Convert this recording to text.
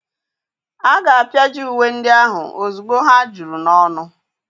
A ga-apịaji uwe ndị ahụ ozugbo ha juru n'ọnụ.